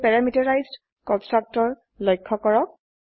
এতিয়া parameterized constructor লক্ষ্য কৰক